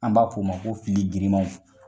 An b'a k'o ma ko fili girimanw